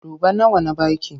Duba nawa na ba ki!